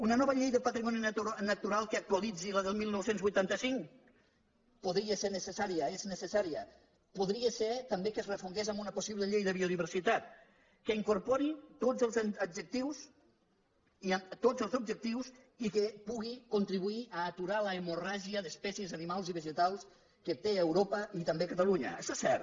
una nova llei de patrimoni natural que actualitzi la del dinou vuitanta cinc podria ser necessària és necessària podria ser també que es refongués en una possible llei de biodiversitat que incorpori tots els objectius i que pugui contribuir a aturar l’hemorràgia d’espècies animals i vegetals que té europa i també catalunya això és cert